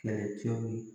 Kɛlɛcɛw ye